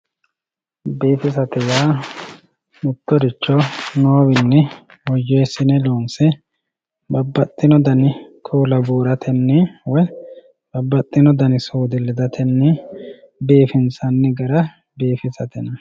biifisate yaa mittoricho noowiinni woyyeessine loonse babbaxino dani kuula buuratenni woy babaxino dani suude ledatenni biifinsanni gara biifisate yinanni.